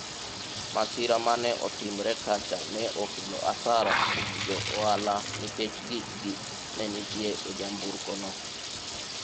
masira mane otimore kacha ne okelo asara kuom johala nikech gikgi ne nitie e nyamburko no